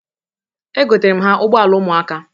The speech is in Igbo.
Egotara m ha ụgbọala ụmụaka.